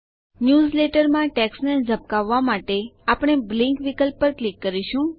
ન્યૂઝલેટરમાં ટેક્સ્ટને ઝબકાવવા માટે આપણે બ્લિંક વિકલ્પ પર ક્લિક કરીશું